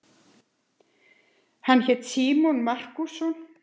Hann hét Símon Markússon.